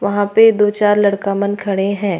वहाँ पर दो चार लड़का मन खड़े हैं।